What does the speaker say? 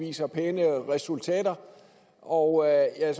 viser pæne resultater og jeg er